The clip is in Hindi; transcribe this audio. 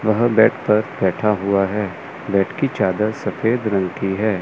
वह बेड पर बैठा हुआ है बेड की चादर सफेद रंग की है।